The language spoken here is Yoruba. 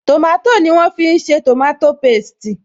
Tòmátò ni wọ́n fi ṣe tòmátò pésti